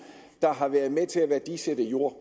der har været med til at værdisætte jord